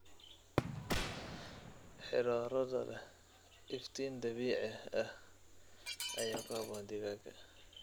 Xirooradha leh iftiin dabiici ah ayaa ku habboon digaaga.